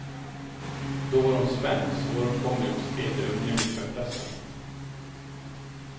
Då var hon spänd, svåråtkomlig och stel i umgänget med pressen.